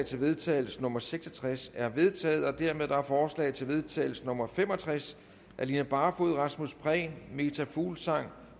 til vedtagelse nummer v seks og tres er vedtaget dermed er forslag til vedtagelse nummer v fem og tres af line barfod rasmus prehn meta fuglsang